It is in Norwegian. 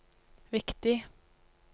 viktig